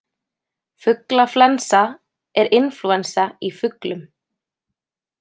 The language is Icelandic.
Fuglaflensa er inflúensa í fuglum.